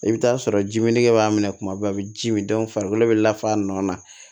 I bɛ t'a sɔrɔ jiminɛn b'a minɛ kuma bɛɛ a bɛ ji min farikolo bɛ lafa a nɔ na